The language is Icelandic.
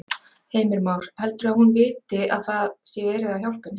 Heimir Már: Heldurðu að hún viti að það sé verið að hjálpa henni?